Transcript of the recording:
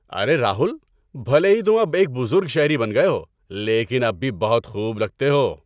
ارے راہل، بھلے ہی تم اب ایک بزرگ شہری بن گئے ہو لیکن اب بھی بہت خوب لگتے ہو۔